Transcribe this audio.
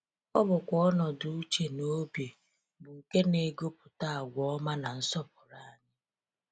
Ọ bụkwa ọnọdụ uche na obi bụ nke na-egopụta agwa ọma na nsọpụrụ anyị.